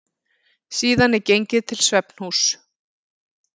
Síðan er gengið til svefnhúss.